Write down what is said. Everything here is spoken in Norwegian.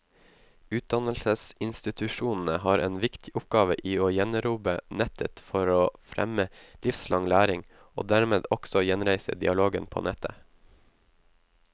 Utdannelsesinstitusjonene har en viktig oppgave i å gjenerobre nettet for å fremme livslang læring, og dermed også gjenreise dialogen på nettet.